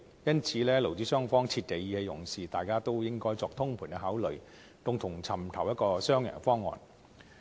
因此，勞資雙方切忌意氣用事，大家應該作通盤考慮，共同尋找一個雙贏方案。